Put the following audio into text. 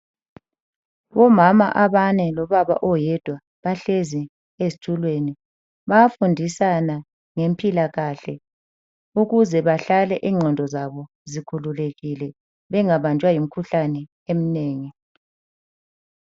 Omama abane lobaba oyedwa bahlezi ezitulweni. Bayafundisana ngempilakahle ukuze bahlale ingqondo zabo zikhululekile bengabanjwa yimkhuhlane eminengi.